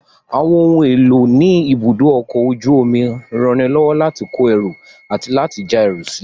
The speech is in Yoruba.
Àwọn ohun èlò ní ibùdó ọkọ̀ ojú omi ranilọ́wọ́ láti kó ẹrù àti láti já ẹrù sílè